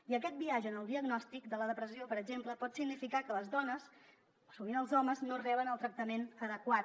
i aquest biaix en el diagnòstic de la depressió per exemple pot significar que les dones o sovint els homes no reben el tractament adequat